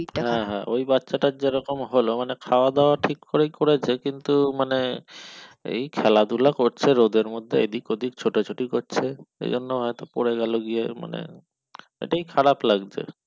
হ্যাঁ হ্যাঁ ওই বাচ্চা টার যেরকম হল মানে খাওয়া দাওয়া ঠিক করেই করেছে কিন্তু মানে এই খেলা ধলা করছে রোদের মধ্যে এদিক ওদিক ছোটাছুটি করছে সেই জন্যে হয়ত পড়ে গেল গিয়ে মানে এটাই খারাপ লাগছে।